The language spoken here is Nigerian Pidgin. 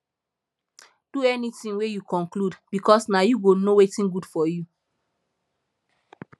do anytin wey yu conclude bikos na yu go no wetin gud for yu